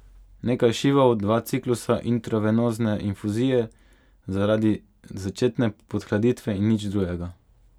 Nekaj šivov, dva ciklusa intravenozne infuzije zaradi začetne podhladitve in nič drugega.